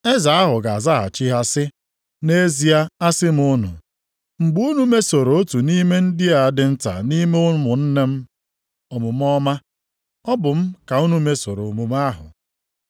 “Eze ahụ ga-azaghachi ha sị, ‘Nʼezie asị m unu, mgbe unu mesoro otu nʼime ndị a dị nta nʼime ụmụnne m omume ọma, ọ bụ m ka unu mesoro omume ahụ.’